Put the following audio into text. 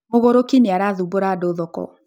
Mũgũrũki nĩ arathumbura andũ thoko